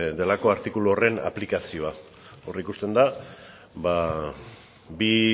delako artikulu horren aplikazioa hor ikusten da bi